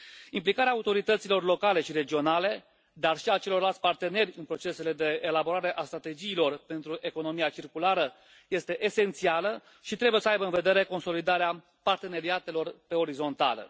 Implicarea autorităților locale și regionale, dar și a celorlalți parteneri în procesele de elaborare a strategiilor pentru economia circulară este esențială și trebuie să aibă în vedere consolidarea parteneriatelor pe orizontală.